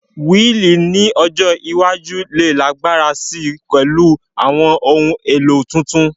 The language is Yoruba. Wíìlì ní ọjọ́ iwájú lè lágbára si pẹ̀lú àwọn ohun èlò tuntun